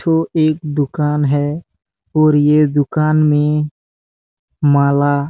ठो एक दुकान है और ये दुकान में माला--